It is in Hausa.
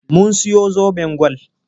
Mun siyo zoben gwal.